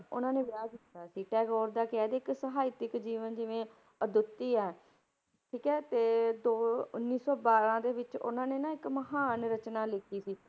ਉਹਨਾਂ ਨੇ ਵਿਆਹ ਕੀਤਾ ਸੀ, ਟੈਗੋਰ ਦਾ ਕਹਿ ਦੇਈਏ ਇੱਕ ਸਾਹਿਤਿਕ ਜੀਵਨ ਜਿਵੇਂ ਅਦੁੱਤੀ ਹੈ, ਠੀਕ ਹੈ ਤੇ ਦੋ ਉੱਨੀ ਸੌ ਬਾਰਾਂ ਦੇ ਵਿੱਚ ਉਹਨਾਂ ਨੇ ਨਾ ਇੱਕ ਮਹਾਨ ਰਚਨਾ ਲਿਖੀ ਸੀ,